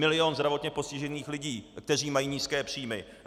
Milion zdravotně postižených lidí, kteří mají nízké příjmy.